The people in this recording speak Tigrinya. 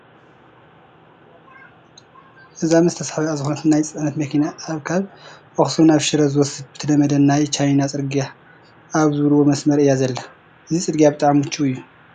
እዛ ምስ ተሰሓቢአ ዝኾነት ናይ ፅዕነት መኪና ኣብ ካብ ኣኽሱም ናብ ሽረ ዝወስድ ብተለምደ ናይ ቻይና ፅርጊያ ኣብ ዝብልዎ መስመር ኢያ ዘላ፡፡ እዚ ፅርጊያ ብጣዕሚ ምቹው እዩ፡፡